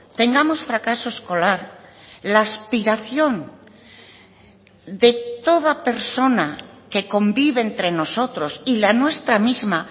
tengamos fracaso escolar la aspiración de toda persona que convive entre nosotros y la nuestra misma